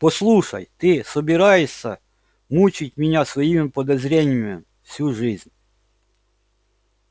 послушай ты собираешься мучить меня своими подозрениями всю жизнь